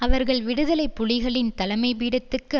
அவர்கள் விடுதலை புலிகளின் தலைமைப்பீடத்துக்கு